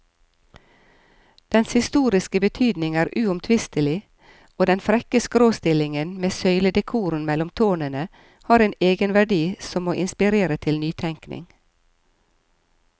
Dens historiske betydning er uomtvistelig, og den frekke skråstillingen med søyledekoren mellom tårnene har en egenverdi som må inspirere til nytenkning.